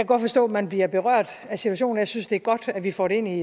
godt forstå at man bliver berørt af situationen og jeg synes det er godt at vi får det ind i